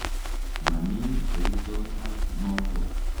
Mami kerichot ap notok.